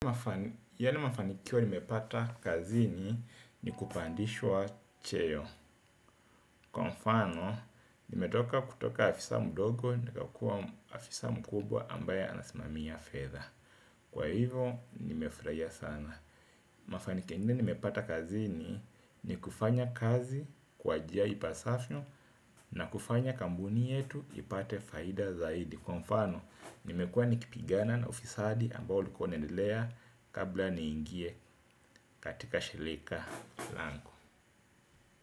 Yale mafanikio ni mepata kazini ni kupandishwa cheo. Kwa mfano, ni metoka kutoka afisa mdogo ni kakua afisa mkubwa ambaye anasimami a fedha. Kwa hivo, ni mefurahia sana. Mafanikio ni mepata kazini ni kufanya kazi kwa jia ipasavyo na kufanya kampuni yetu ipate faida zaidi. Kwa mfano, nimekuwa nikipigana na ufisadi ambao ulikuwa unaendelea kabla niingie katika shirika langu.